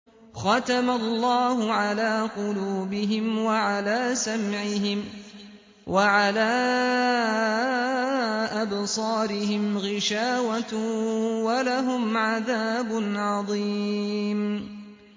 خَتَمَ اللَّهُ عَلَىٰ قُلُوبِهِمْ وَعَلَىٰ سَمْعِهِمْ ۖ وَعَلَىٰ أَبْصَارِهِمْ غِشَاوَةٌ ۖ وَلَهُمْ عَذَابٌ عَظِيمٌ